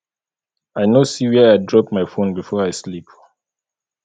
i no see where i drop my phone before i sleep